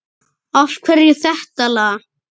Af hverju þetta lag?